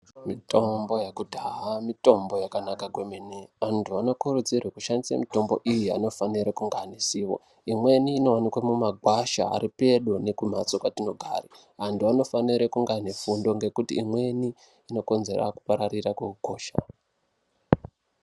Mitombo yekudhaya mitombo yakanaka kwemene antu anokurudzirwe kushandise mitombo iyi anofanire kunge ane zivo imweni inooneke mumagwasha ari pedo nekumhatso kwetinogara antu anofanire kunge aaine fundo ngekuti imweni inokonzera kupararira kweukosha/hosha.